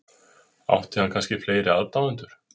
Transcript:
Átti hann kannski fleiri aðdáendur?